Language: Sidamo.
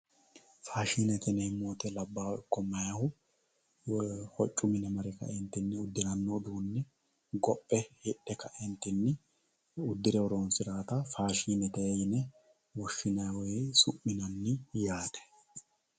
faashinete yineemmo woyiite labbaahu ikko meyaahu hoccu mine mare ka"eentinni uddiranno uduunne gophe hidhe ka"eentinni horoonsirawoota faashinete yine woshshinanni woy su'minanni yaate.